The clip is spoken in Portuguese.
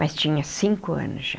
Mas tinha cinco anos já.